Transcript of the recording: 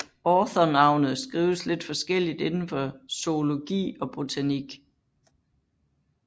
Autornavnet skrives lidt forskelligt inden for zoologi og botanik